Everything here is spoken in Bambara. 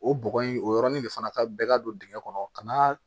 O bɔgɔ in o yɔrɔnin de fana ka bɛ ka don dingɛn kɔnɔ ka na